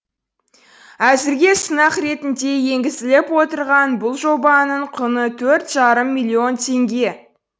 әзірге сынақ ретінде енгізіліп отырған бұл жобаның құны төрт жарым миллион теңге